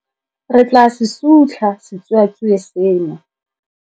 Re tla se sutlha setsuatsue seno.